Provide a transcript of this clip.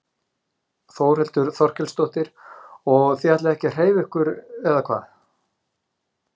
Þórhildur Þorkelsdóttir: Og þið ætlið ekki að hreyfa ykkur eða hvað?